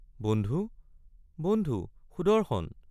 বন্ধু বন্ধু সুদৰ্শন!